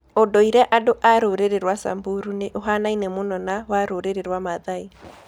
Ũndũire andu a a rũrĩrĩ rwa Samburu nĩ ũhaanaine mũno na wa rũrĩrĩ rwa Mathai.